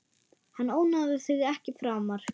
Hann ónáðar þig ekki framar.